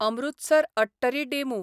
Amritsar Attari DEMU